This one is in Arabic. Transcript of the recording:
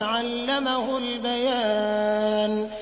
عَلَّمَهُ الْبَيَانَ